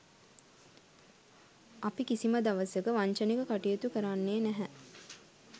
අපි කිසිම දවසක වංචනිකව කටයුතු කරන්නේ නැහැ.